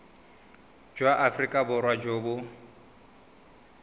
jwa aforika borwa jo bo